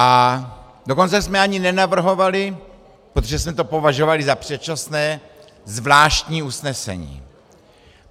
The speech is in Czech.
A dokonce jsme ani nenavrhovali, protože jsme to považovali za předčasné, zvláštní usnesení.